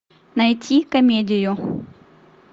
найти комедию